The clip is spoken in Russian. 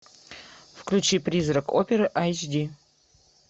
включи призрак оперы айч ди